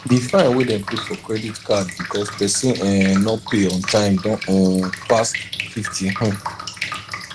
di fine wey dem put for credit card because persin um no pay on time don um pass 50 um